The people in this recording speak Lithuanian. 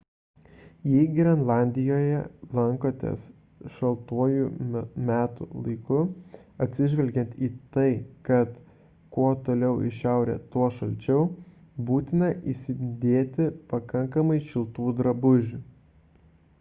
jei grenlandijoje lankotės šaltuoju metų laiku atsižvelgiant į tai kad kuo toliau į šiaurę tuo šalčiau būtina įsidėti pakankamai šiltų drabužių